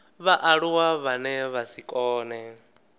vhaaluwa vhane vha si kone